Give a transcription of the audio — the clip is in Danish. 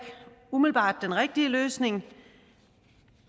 umiddelbart den rigtige løsning